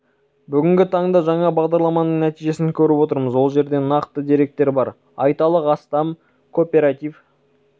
бүгінгі таңда жаңа бағдарламаның нәтижесін көріп отырмыз ол жерде нақты деректер бар айталық астам кооператив